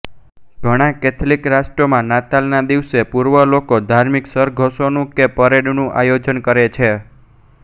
ઘણાં કેથલિક રાષ્ટ્રોમાં નાતાલના દિવસ પૂર્વે લોકો ધાર્મિક સરઘસોનું કે પરેડનું આયોજન કરે છે